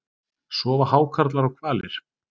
Sofa hákarlar og hvalir?